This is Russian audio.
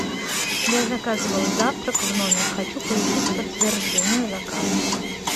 я заказывала завтрак в номер хочу получить подтверждение заказа